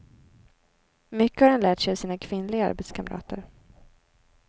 Mycket har han lärt sig av sina kvinnliga arbetskamrater.